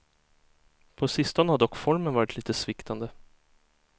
På sistone har dock formen varit lite sviktande.